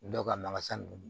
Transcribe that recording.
Dɔw ka makasa ninnu